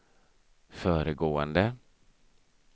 föregående